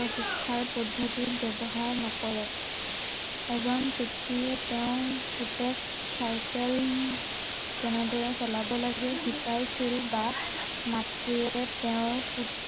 ঠাইৰ পদ্ধতি ব্য়ৱহাৰ নকৰে, এজন পিতৃয়ে তেওঁৰ পুতেক চাইকেল কেনেদৰে চলাব লাগে শিকাইছিল বা মাতৃয়ে তেওঁৰ পুত্ৰৰ